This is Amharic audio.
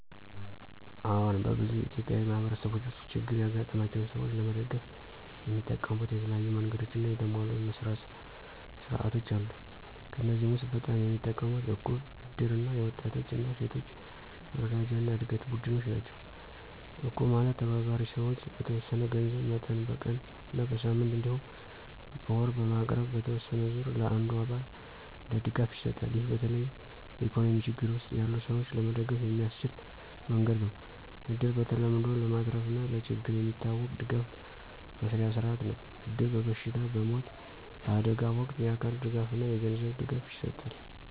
አዎን፣ በብዙ ኢትዮጵያዊ ማህበረሰቦች ውስጥ ችግር ያጋጠማቸውን ሰዎች ለመደገፍ የሚጠቀሙት የተለያዩ መንገዶችና የተሟሉ መስርያ ሥርዓቶች አሉ። ከእነዚህ ውስጥ በጣም የሚጠቀሙት እቁብ፣ እድር እና የወጣቶች እና ሴቶች መረጃና ዕድገት ቡድኖች ናቸው። እቁብ ማለት ተባባሪ ሰዎች በተወሰነ የገንዘብ መጠን በቀን እና በሳምንት እንዲሁም በወር በማቅረብ በተወሰነ ዙር ለአንዱ አባል እንደ ድጋፍ ይሰጣል። ይህ በተለይ በኢኮኖሚ ችግር ውስጥ ያሉ ሰዎች ለመደገፍ የሚያስችል መንገድ ነው። እድር በተለምዶ ለማትረፍና ለችግር የሚታወቅ ድጋፍ መስርያ ሥርዓት ነው። እድር በበሽታ፣ በሞት፣ በአደጋ ወቅት የአካል ድጋፍና የገንዘብ ድጋፍ ይሰጣል።